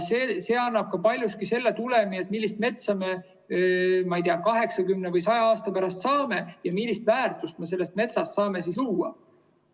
See annab paljuski selle tulemi, millist metsa me, ma ei tea, 80 või 100 aasta pärast saame ja millist väärtust ma sellest metsast saame luua.